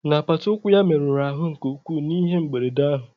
N'apata ụkwụ ya merụrụ ahụ nke ukwuu n'ihe mberede ahụ